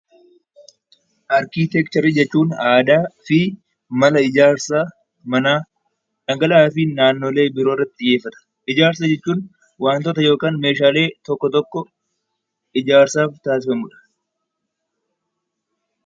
Arkitekcherii jechuun aadaa fi mana ijaarsa, dhangala'aa fi naannoolee biroo irratti xiyyeeffata. Ijaarsa jechuun wantoota yookiin meeshaalee ijaarsaaf taassifamudha.